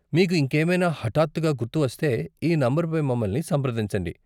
మీకు ఇంకేమైనా హఠాత్తుగా గుర్తువస్తే ఈ నంబర్ పై మమ్మల్ని సంప్రదించండి.